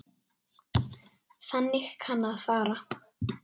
Þannig kann að fara.